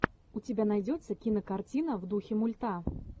у тебя найдется кинокартина в духе мульта